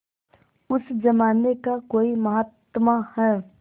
उस जमाने का कोई महात्मा है